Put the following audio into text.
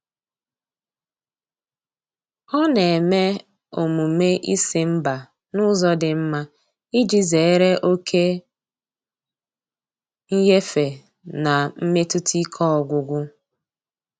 Ọ na-eme omume ịsị mba n'ụzọ dị mma iji zere oke nyefe na mmetụta ike ọgwụgwụ.